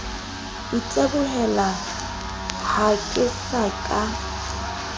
itebohela ha ke sa ka